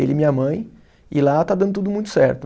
ele e minha mãe, e lá está dando tudo muito certo.